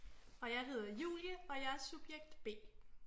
Og jeg hedder Julie og jeg er subjekt B